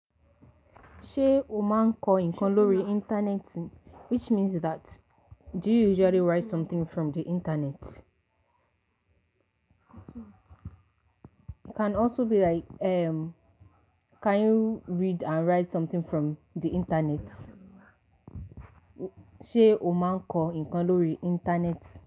Ṣé o máa ń kọ ǹnkan lórí internet? Which means that do you usually write something from the internet? Can also be like, can you read and write something from the Internet? Ṣé o máa ń kọ ǹkan lórí internet?